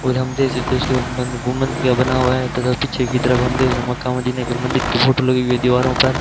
और हम देख सकते हैं उसके गुंबद बना हुआ है तथा पीछे की तरफ हम देख रहे मक्का मदीना के मंदिर की फोटो लगी हुई है दीवारों पर।